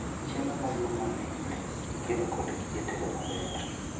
Chiemo madum mamit ikelo kod gige tedo maber